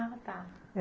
Ah, tá.